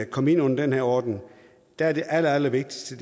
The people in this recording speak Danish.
komme ind under den her ordning er det allerallervigtigste